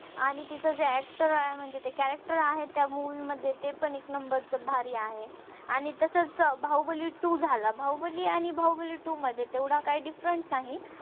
आणि तिचा जे actor आहे म्हणजे character आहे त्या movie मध्ये ते पण एक नंबरच भारी आहे आणि तसच बाहुबली two झाला बाहुबली आणि बाहुबली two तेवढा काही different नाही